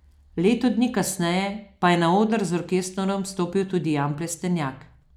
Leto dni kasneje pa je na oder z orkestrom stopil tudi Jan Plestenjak.